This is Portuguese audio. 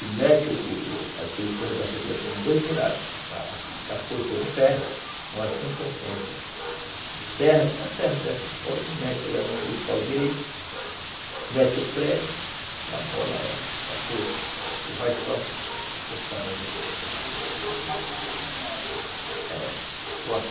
e mete o o aquele coisa da foice, ela tem dois buracos, a foice é de ferro, uma assim e outra assim, a gente ferra com uma serra dessa e mete lá naquele pau direito mete o prego e amola ela, é a foice e vai só cortando a juta. Fazendo como se fosse uma foice menor? É.